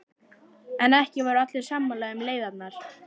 En ekki voru allir sammála um leiðirnar.